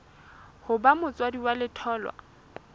ho ba motswadi wa letholwa